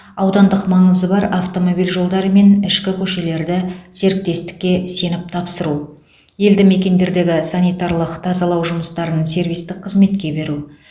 аудандық маңызы бар автомобиль жолдары мен ішкі көшелерді серіктестікке сеніп тапсыру елді мекендердегі санитарлық тазалау жұмыстарын сервистік қызметке беру